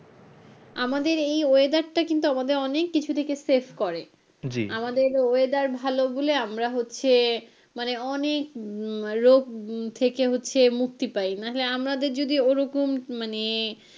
আমাদের এই weather টা কিন্তু আমাদের অনেক কিছু থেকে save করে আমাদের weather ভালো বলে আমরা হচ্ছে মানে অনেক রোগ থেকে হচ্ছে মুক্তি পাই নাহলে আমাদের যদি ওরকম মানে,